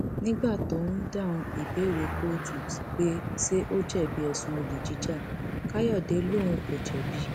nígbà tó ń dáhùn ìbéèrè kóòtù pé ṣé ó jẹbi ẹsùn olè jíja káyọdé lòun kò jẹbi